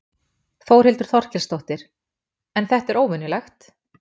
Þórhildur Þorkelsdóttir: En þetta er óvenjulegt?